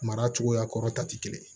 Mara cogoya kɔrɔ ta tɛ kelen ye